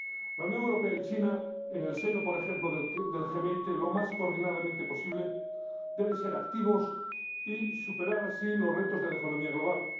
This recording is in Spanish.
La Unión Europea y China, en el seno por ejemplo del G20, y lo más coordinadamente posible, deben ser activas y superar así los retos de la economía global.